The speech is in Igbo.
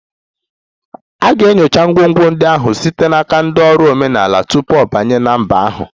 A ga-enyocha ngwongwo ndị ahụ site n'aka ndị ọrụ omenala tupu ọ banye na mba ahụ